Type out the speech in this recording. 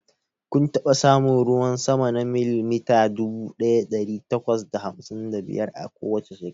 Kun taɓa samun ruwan sama na milimita dubu ɗaya ɗari takwas da hamsin da biyar a kowace shekara?